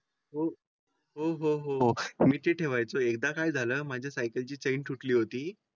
हो हो हो मी ठेवायचा एकदा काय झालं माझ्या सायकल ची चेन तुटली होती.